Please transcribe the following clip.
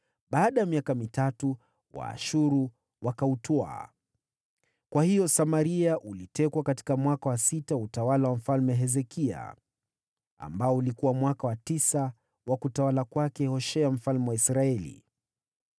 Baada ya miaka mitatu Waashuru wakautwaa. Kwa hiyo Samaria ulitekwa katika mwaka wa sita wa utawala wa Mfalme Hezekia, ambao ulikuwa mwaka wa tisa wa utawala wa Hoshea mfalme wa Israeli.